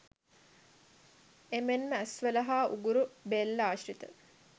එමෙන්ම ඇස්වල හා උගුර, බෙල්ල ආශ්‍රිත